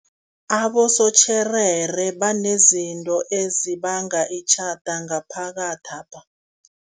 Abosotjherere banezinto ezibanga itjhada ngaphakathapha.